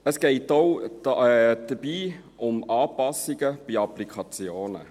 Es geht dabei auch um Anpassungen bei Applikationen.